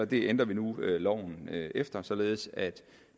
det ændrer vi nu loven efter således at